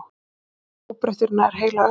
haldist óbreyttur í nær heila öld.